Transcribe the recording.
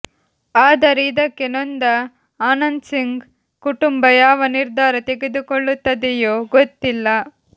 ಆದರೆ ಇದಕ್ಕೆ ನೊಂದ ಆನಂದ್ಸಿಂಗ್ ಕುಟುಂಬ ಯಾವ ನಿರ್ಧಾರ ತೆಗೆದುಕೊಳ್ಳುತ್ತದೆಯೋ ಗೊತ್ತಿಲ್ಲ